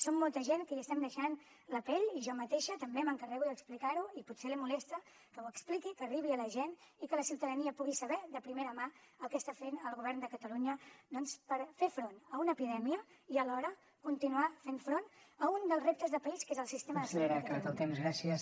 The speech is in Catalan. som molta gent que hi estem deixant la pell i jo mateixa també m’encarrego d’explicar ho i potser li molesta que ho expliqui que arribi a la gent i que la ciutadania pugui saber de primera mà el que està fent el govern de catalunya doncs per fer front a una epidèmia i alhora continuar fent front a un dels reptes de país que és el sistema de salut de catalunya